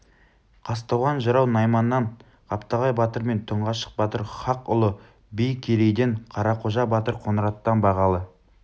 қазтуған жырау найманнан қаптағай батыр мен тұңғашық батыр хақұлы би керейден қарақожа батыр қоңыраттан бағалы